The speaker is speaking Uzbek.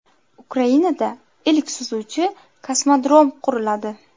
Ukrainada ilk suzuvchi kosmodrom quriladi.